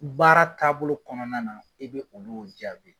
Baara taabolo kɔnɔna na e bi olu jaabi